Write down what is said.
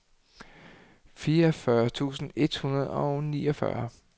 fireogfyrre tusind et hundrede og niogfyrre